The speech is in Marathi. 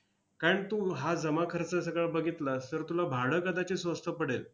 कारण तू हा जमाखर्च सगळा बघितलास, तर तुला भाडं कदाचित स्वस्त पडेल.